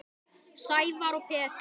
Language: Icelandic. Sævar og Pétur.